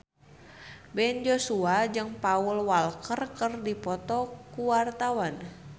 Ben Joshua jeung Paul Walker keur dipoto ku wartawan